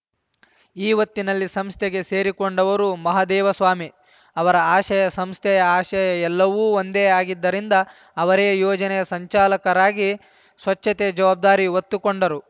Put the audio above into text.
ಈ ಒತ್ತಿನಲ್ಲಿ ಸಂಸ್ಥೆಗೆ ಸೇರಿಕೊಂಡವರು ಮಹದೇವಸ್ವಾಮಿ ಅವರ ಆಶಯ ಸಂಸ್ಥೆಯ ಆಶಯ ಎಲ್ಲವೂ ಒಂದೇ ಆಗಿದ್ದರಿಂದ ಅವರೇ ಯೋಜನೆಯ ಸಂಚಾಲಕರಾಗಿ ಸ್ವಚ್ಛತೆಯ ಜವಾಬ್ದಾರಿ ಒತ್ತುಕೊಂಡರು